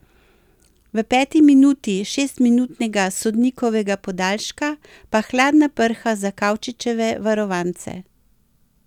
V peti minuti šestminutnega sodnikovega podaljška pa hladna prha za Kavčičeve varovance.